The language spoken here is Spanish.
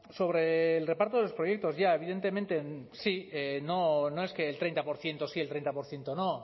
sobre el reparto de los proyectos ya evidentemente sí no no es que el treinta por ciento sí el treinta por ciento no